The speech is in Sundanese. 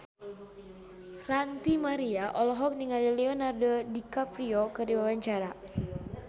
Ranty Maria olohok ningali Leonardo DiCaprio keur diwawancara